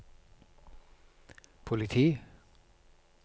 politi